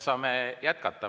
Saame jätkata.